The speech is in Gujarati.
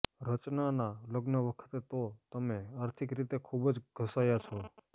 રચનાના લગ્ન વખતે તો તમે આર્થિક રીતે ખૂબ જ ઘસાયા છો